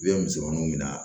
I bɛ misɛnmaninw minɛ